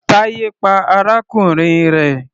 Taye pa arákùnrin rẹ̀.